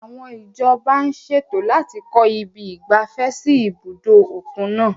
Àwọn ìjọba ń ṣètò láti kọ ibi ìgbafẹ́ sí ibùdó òkun náà.